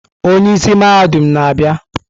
Onye isi mahadum na-abịa.